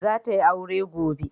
Za ta yi aure gobe.